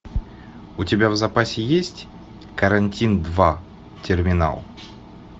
у тебя в запасе есть карантин два терминал